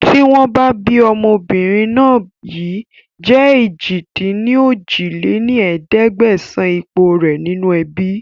Tìwọ̀n bá ọmọbìnrin náà yìí jẹ̀ èjì-dín-ní-ojì lé ní ẹ̀ẹ́dẹ́gbẹ́sán ipò rẹ nínú ẹbí